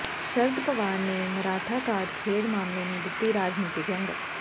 ਸ਼ਰਦ ਪਵਾਰ ਨੇ ਮਰਾਠਾ ਕਾਰਡ ਖੇਡ ਮਾਮਲੇ ਨੂੰ ਦਿੱਤੀ ਰਾਜਨੀਤਿਕ ਰੰਗਤ